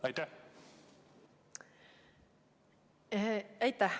Aitäh!